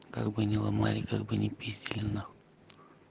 как бы не ломали как бы не пиздили нахуй